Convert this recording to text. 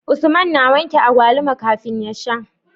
Usman na wanke agwaluma kafin ya sha